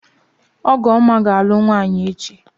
Ọgụọma ga-alụ nwaanyị echi.